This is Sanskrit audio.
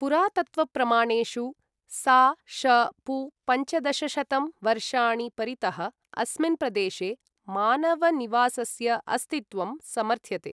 पुरातत्त्वप्रमाणेषु सा.श.पू.पञ्चदशशतं वर्षाणि परितः अस्मिन् प्रदेशे मानवनिवासस्य अस्तित्वं समर्थ्यते।